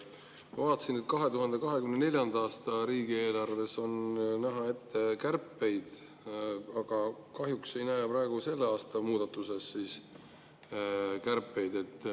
Ma vaatasin, et 2024. aasta riigieelarves on ette näha kärpeid, aga kahjuks ei näe selle aasta muudatustes kärpeid.